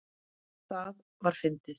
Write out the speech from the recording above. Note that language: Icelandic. Það var fyndið.